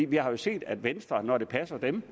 vi har jo set at venstre når det passer dem